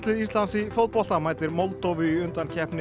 Íslands í fótbolta mætir Moldóvu í undankeppni